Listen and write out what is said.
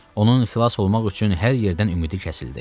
Onun xilas olmaq üçün hər yerdən ümidi kəsildi.